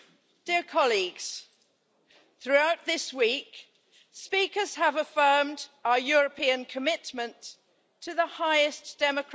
Madam President, throughout this week speakers have affirmed our European commitment to the highest democratic principles.